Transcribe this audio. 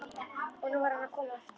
Og nú var hann að koma aftur!